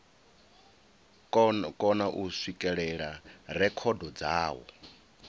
kona u swikelela rekhodo dzawo